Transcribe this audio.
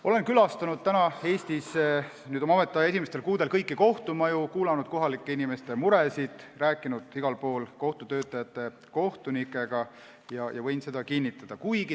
Olen oma ametiaja esimestel kuudel käinud kõigis Eesti kohtumajades, kuulanud kohalike inimeste muresid, rääkinud igal pool kohtutöötajate ja kohtunikega ning võin seda kinnitada.